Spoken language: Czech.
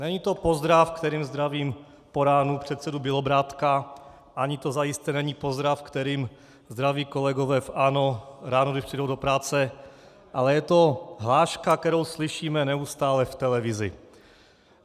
Není to pozdrav, kterým zdravím po ránu předsedu Bělobrádka, ani to zajisté není pozdrav, kterým zdraví kolegové v ANO ráno, když přijdou do práce, ale je to hláška, kterou slyšíme neustále v televizi.